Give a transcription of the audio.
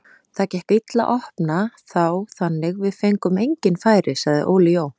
Það gekk illa að opna þá þannig við fengum engin færi, sagði Óli Jó.